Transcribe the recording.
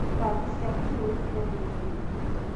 Mbathi cia Kenya Mpya nĩ nyingĩ.